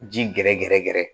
Ji gɛrɛgɛrɛ gɛrɛ